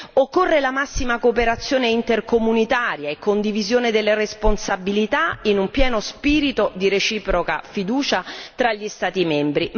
Occorre la massima cooperazione intercomunitaria e condivisione delle responsabilità, in un pieno spirito di reciproca fiducia tra gli Stati membri.